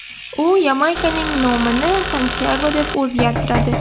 U Yamaykaning nomini Santyago deb o‘zgartiradi.